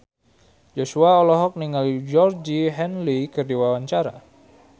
Joshua olohok ningali Georgie Henley keur diwawancara